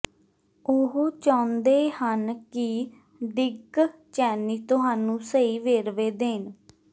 ਉਹ ਚਾਹੁੰਦੇ ਹਨ ਕਿ ਡਿਕ ਚੈਨੀ ਤੁਹਾਨੂੰ ਸਹੀ ਵੇਰਵੇ ਦੇਣ